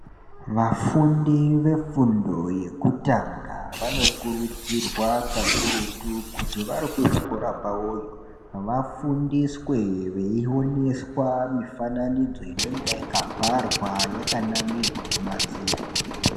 Vafundi vefundo yekutanga vanokurudzirwa kakurutu kuti varikuzvikora kwawoyo vafundiswe veioneswa mifananidzo inonga yakabharwa yakanamirwa mumadziro.